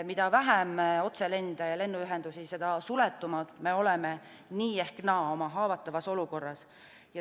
Mida vähem otselende ja lennuühendusi, seda suletumad me oleme nii ehk naa oma haavatavas olukorras.